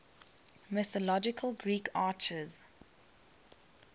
mythological greek archers